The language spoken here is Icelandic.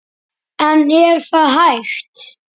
En er það hægt?